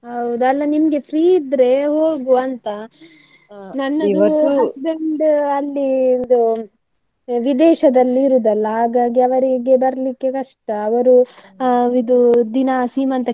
ಹೌದ ಅಲ್ಲಾ ನಿಮ್ಗೆ free ಇದ್ರೆ ಹೋಗುವ ಅಂತ, husband ಅಲ್ಲಿ ಇದು, ವಿದೇಶದಲ್ಲಿ ಇರುದಲ್ಲ ಹಾಗಾಗಿ ಅವರಿಗೆ ಬರ್ಲಿಕ್ಕೆ ಕಷ್ಟ, ಅವರು ಆ ಇದು ದಿನ ಸೀಮಂತಕ್ಕೆ.